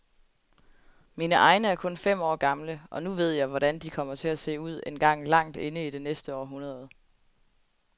Mine egne er kun fem år gamle, og nu ved jeg, hvordan de kommer til at se ud engang langt inde i det næste århundrede.